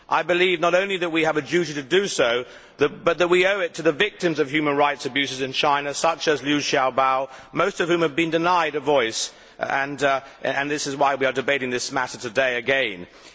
I believe not only that we have a duty to do so, but that we owe it to the victims of human rights abuses in China such as Liu Xiaobo, most of whom have been denied a voice. This is why we are debating this matter again today.